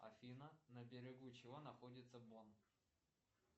афина на берегу чего находится бон